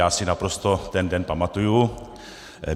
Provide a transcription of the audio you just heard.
Já si naprosto ten den pamatuji.